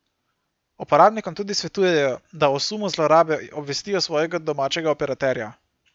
Uporabnikom tudi svetujejo, da o sumu zlorabe obvestijo svojega domačega operaterja.